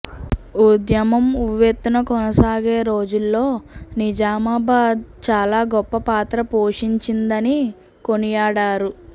ఉద్యమం ఉవ్వెత్తున కొనసాగే రోజుల్లో నిజామాబాద్ చాలా గొప్ప పాత్ర పోషించిందని కొనియాడారు